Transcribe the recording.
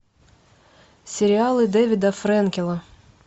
сериалы дэвида фрэнкела